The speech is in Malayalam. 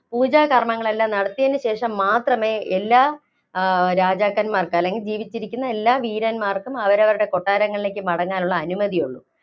പൂജാ കര്‍മ്മങ്ങള്‍ എല്ലാം നടത്തിയതിന് ശേഷം മാത്രമേ എല്ലാ രാജാക്കന്‍മാര്‍ക്ക്, അല്ലെങ്കില്‍ ജീവിച്ചിരിക്കുന്ന എല്ലാ വീരന്‍മാര്‍ക്കും അവരവരുടെ കൊട്ടാരങ്ങളിലേക്ക് മടങ്ങുവാനുള്ള അനുമതിയുള്ളൂ.